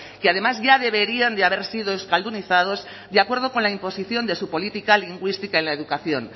que además ya deberían de haber sido euskaldunizados de acuerdo con la imposición de su política lingüística en la educación